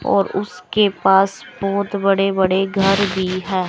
और उसके पास बहोत बड़े बड़े घर भी है।